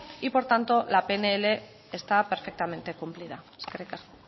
y por tanto la pnl está perfectamente cumplida eskerrik asko